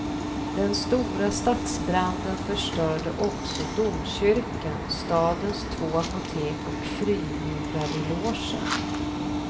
Den stora stadsbranden förstörde också domkyrkan, stadens två apotek och frimurarelogen.